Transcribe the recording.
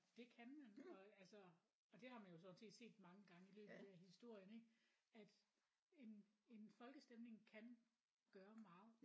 Det kan man og altså og det har man jo sådan set set mange gange i løbet af historien ik at en en folkestemning kan gøre meget